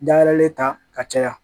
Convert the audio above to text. Dayɛlɛlen ta ka caya